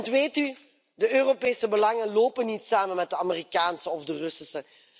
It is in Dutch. Want weet u, de Europese belangen lopen niet samen met de Amerikaanse of de Russische.